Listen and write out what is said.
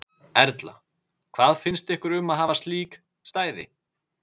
Erla: Hvað finnst ykkur um að hafa slík stæði?